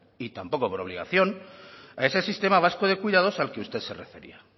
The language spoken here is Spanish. y tampoco por obligación a ese sistema vasco de cuidados al que usted se refería